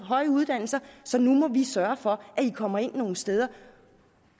høje uddannelser så nu må vi sørge for at i kommer ind nogle steder